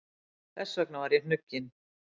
Þess vegna er ég hnugginn.